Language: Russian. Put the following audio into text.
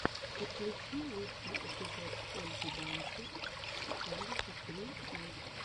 подключи лучший эпизод ольги дансер семьдесят три ил